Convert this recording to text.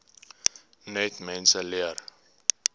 net mense leer